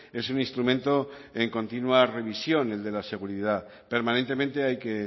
es un instrumento en continua revisión el de la seguridad permanentemente hay que